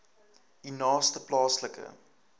u naaste plaaslike